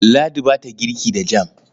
Ladi ba ta girki da jam.